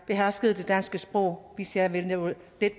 beherskede det danske sprog hvis jeg ville nå